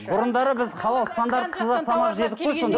бұрындары біз халал стандартсыз ақ тамақ жедік қой